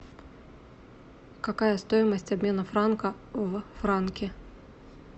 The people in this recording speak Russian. какая стоимость обмена франка в франки